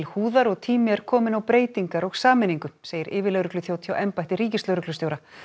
húðar og tími er kominn á breytingar og sameiningu segir yfirlögregluþjónn hjá embætti ríkislögreglustjóra